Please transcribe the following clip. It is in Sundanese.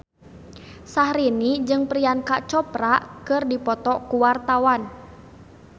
Syahrini jeung Priyanka Chopra keur dipoto ku wartawan